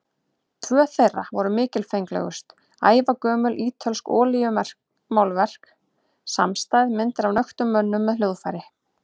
Tvö þeirra voru mikilfenglegust, ævagömul ítölsk olíumálverk samstæð, myndir af nöktum mönnum með hljóðfæri.